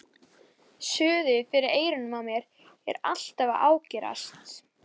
Hera, ekki fórstu með þeim?